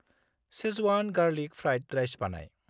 Schezwan garlic fried rice बानाय।